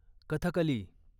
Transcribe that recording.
Kathakali